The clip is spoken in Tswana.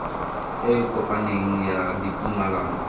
e e kopaneng ya ditumalano